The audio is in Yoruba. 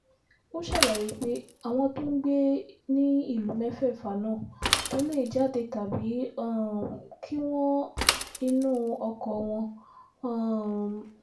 ó ṣàlàyé pé àwọn tó ń gbé ní ìlú mẹ́fẹ̀ẹ̀fà náà kò lè jáde tàbí um kí wọ́n inú oko wọn um